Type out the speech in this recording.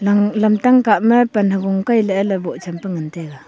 nang lam tang kah ma pan havo kai lah ae ley boh chen pa ngan taega.